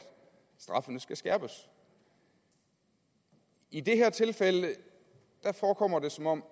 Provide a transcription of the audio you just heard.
straffene skal skærpes i det her tilfælde forekommer det som om